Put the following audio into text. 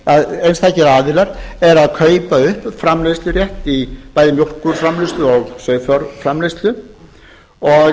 að einstakir aðilar eru að kaupa upp framleiðslurétt bæði í mjólkurframleiðslu og